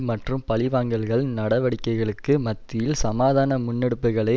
மற்றும் பழிவாங்கல்கள் நடவடிக்கைகளுக்கு மத்தியில் சமாதான முன்னெடுப்புகளை